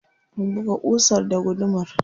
Buga ƙusar da gudumar.